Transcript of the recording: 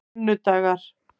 sunnudagar